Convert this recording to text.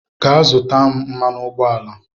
Gaa zụta m mmanụ ụgbọala